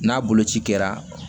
N'a boloci kɛra